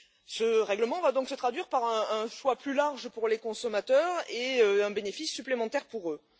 Ce règlement va donc se traduire par un choix plus large pour les consommateurs et un bénéfice supplémentaire pour eux.